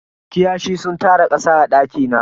Kiyashi sun tara kasa a daki na.